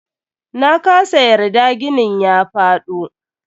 Nakasa yarda ginin ya faɗo.